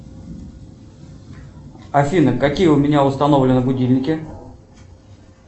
афина какие у меня установлены будильники